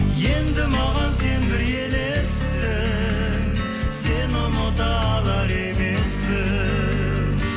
енді маған сен бір елессің сені ұмыта алар емеспін